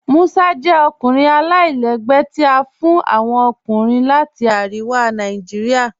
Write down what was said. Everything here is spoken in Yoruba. Musa jẹ orúkọ alailẹgbẹ́ tí a fún awọn ọkùnrin láti Ariwa Naijiria.